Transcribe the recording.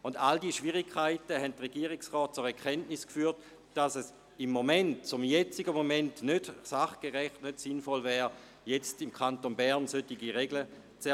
All diese Schwierigkeiten haben den Regierungsrat zur Erkenntnis geführt, dass es zum jetzigen Zeitpunkt nicht sachgerecht wäre, im Kanton Bern solche Regeln zu erlassen.